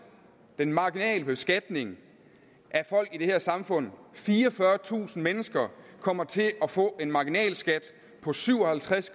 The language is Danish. den marginale beskatning af folk i det her samfund fireogfyrretusind mennesker kommer til at få en marginalskat på syv og halvtreds